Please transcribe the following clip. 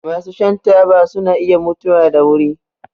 Masu shan taba suna iya mutuwa da wuri.